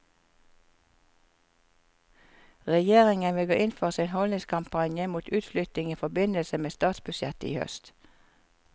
Regjeringen vil gå inn for sin holdningskampanje mot utflytting i forbindelse med statsbudsjettet i høst.